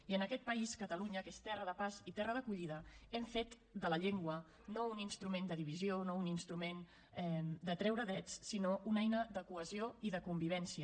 i en aquest país catalunya que és terra de pas i terra d’acollida hem fet de la llengua no un instrument de divisió no un instrument de treure drets sinó una eina de cohesió i de convivència